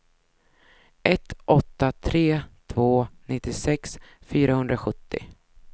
ett åtta tre två nittiosex fyrahundrasjuttio